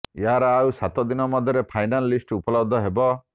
ଏହାର ଆଉ ସାତଦିନ ମଧ୍ୟରେ ଫାଇନାଲ ଲିଷ୍ଟ ଉପଲବ୍ଧ ହେବ